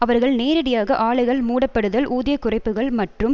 அவர்கள் நேரடியாக ஆலைகள் மூடப்படுதல் ஊதிய குறைப்புக்கள் மற்றும்